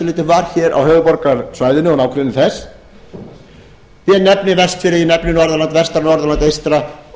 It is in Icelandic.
leyti var hér á höfuðborgarsvæðinu og nágrenni þess ég nefni vestfirði ég nefni norðurland vestra norðurland eystra